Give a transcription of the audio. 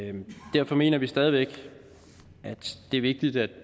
derfor mener vi stadig væk at det er vigtigt at